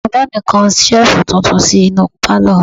Bàbá mi kan Ṣẹ́ẹ̀fù tuntun sí inú pálọ̀ wa